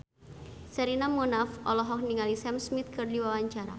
Sherina Munaf olohok ningali Sam Smith keur diwawancara